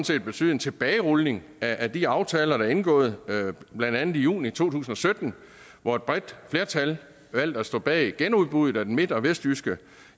set betyde en tilbagerulning af de aftaler der er indgået blandt andet i juni to tusind og sytten hvor et bredt flertal valgte at stå bag genudbuddet af den midt og vestjyske